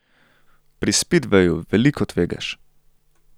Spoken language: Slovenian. Pri spidveju veliko tvegaš.